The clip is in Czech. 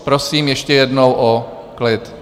Prosím ještě jednou o klid.